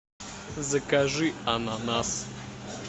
закажи ананас